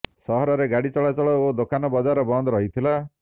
ସହରରେ ଗାଡ଼ି ଚଳାଚଳ ଓ ଦୋକାନ ବଜାର ବନ୍ଦ ରହିଥିଲା